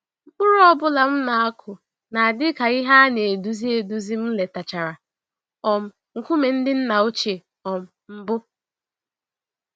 Mkpụrụ ọ bụla m na-akụ na-adị ka ìhè ana-eduzi eduzi m letachara um nkume ndị nna ochie um mbụ.